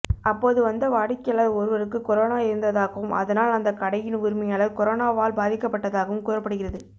அப்போது வந்த வாடிக்கையாளர் ஒருவருக்கு கொரோனா இருந்ததாகவும் அதனால் அந்த கடையின் உரிமையாளர் கொரோனாவால் பாதிக்கப்பட்டதாகவும் கூறப்படுகிறது